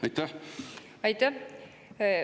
Aitäh!